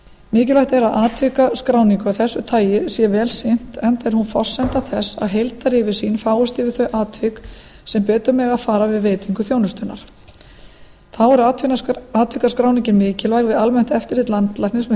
mikilvægt er að atvikaskráningu af þessu tagi sé vel sinnt enda er hún forsenda þess að heildaryfirsýn fáist yfir þau atvik sem betur mega fara við veitingu þjónustunnar þá er atvikaskráningin mikilvæg við almennt eftirlit landlæknis með